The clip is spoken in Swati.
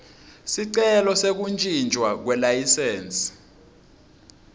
sicelo sekuntjintjwa kwelayisensi